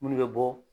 Munnu bɛ bɔ